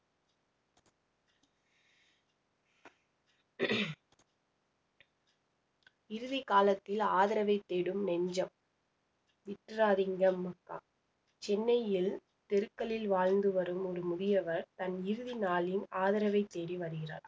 இறுதி காலத்தில் ஆதரவை தேடும் நெஞ்சம் விட்டுறாதீங்கம் அப்பா சென்னையில் தெருக்களில் வாழ்ந்து வரும் ஒரு முதியவர் தன் இறுதி நாளின் ஆதரவைத் தேடி வருகிறார்